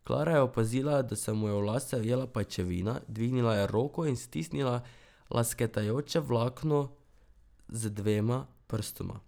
Klara je opazila, da se mu je v lase ujela pajčevina, dvignila je roko in stisnila lesketajoče vlakno z dvema prstoma.